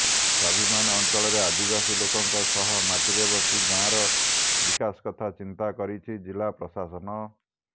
ସ୍ବାଭିମାନ ଅଞ୍ଚଳର ଆଦିବାସୀ ଲୋକଙ୍କ ସହ ମାଟିରେ ବସି ଗାଁର ବିକାଶ କଥା ଚିନ୍ତା କରିଛି ଜିଲ୍ଲାପ୍ରଶାସନ